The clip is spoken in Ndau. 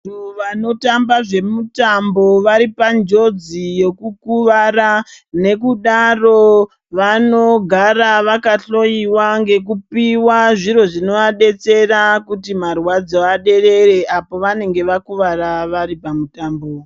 Vantu vanotamba zvemitambo varipanjodzi yekukuvara nekudaro vanogara vakahloyiwa ngekupiwa zviro zvinovadetsera kuti marwadzo aderere apo pavanenge vakuwara varipa mutambo.